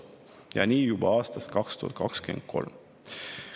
Ja nii juba aastast 2023.